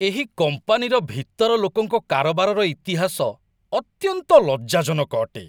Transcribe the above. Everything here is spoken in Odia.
ଏହି କମ୍ପାନୀର ଭିତର ଲୋକଙ୍କ କାରବାରର ଇତିହାସ ଅତ୍ୟନ୍ତ ଲଜ୍ଜାଜନକ ଅଟେ।